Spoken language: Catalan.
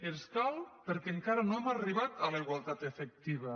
ens cal perquè encara no hem arribat a la igualtat efectiva